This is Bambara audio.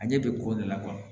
A ɲɛ bɛ ko de la